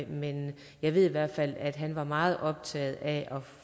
men jeg ved i hvert fald at han var meget optaget af at